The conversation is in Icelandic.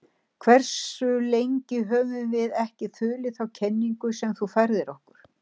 Hversu lengi höfum við ekki þulið þá kenningu sem þú færðir okkur?